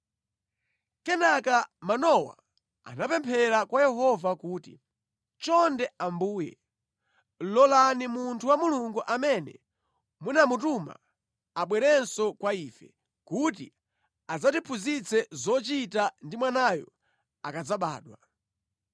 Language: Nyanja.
Kenaka Manowa anapemphera kwa Yehova kuti, “Chonde Ambuye, lolani munthu wa Mulungu amene munamutuma abwerenso kwa ife kuti adzatiphunzitse zochita ndi mwanayo akadzabadwa.”